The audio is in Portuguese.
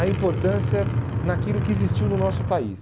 a importância naquilo que existiu no nosso país.